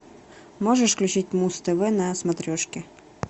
можешь включить муз тв на смотрешке